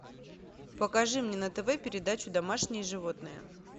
покажи мне на тв передачу домашние животные